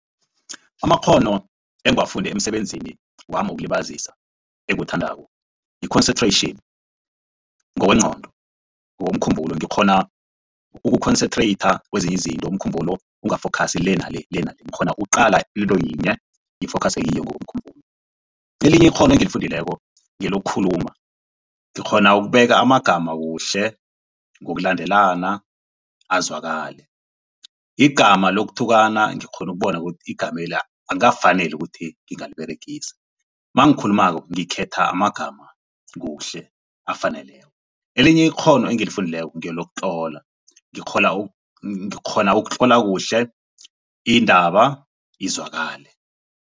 Amakghono engiwafunde emisebenzini wami wokulibazisa engiwuthandako yi-concentration ngokwengqondo ngokomkhumbulo. Ngikghona uku-concentration kwezinye izinto umkhumbulo unga-focus le nale le nale ngikghona uqala yinto yinye ngi-focus kiyo ngokomkhumbulo. Elinye ikghono engilifundileko ngelokukhuluma ngikghona ukubeka amagama kuhle ngokulandelana azwakale, igama lokuthukana ngikghona ukubona ukuthi igamela akukafaneli ukuthi ngingaliberegisi. Mangikhulumako ngikhetha amagama kuhle afaneleko. Elinye ikghono engilifundileko ngelokutlola ngikghona ukutlola kuhle indaba izwakale.